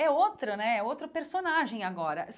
É outra né, é outro personagem agora.